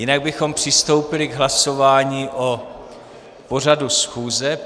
Jinak bychom přistoupili k hlasování o pořadu schůze.